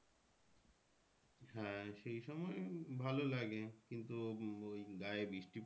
হ্যাঁ সেই সময় ভালো লাগে কিন্তু ওই গায়ে বৃষ্টি